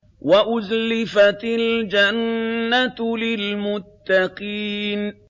وَأُزْلِفَتِ الْجَنَّةُ لِلْمُتَّقِينَ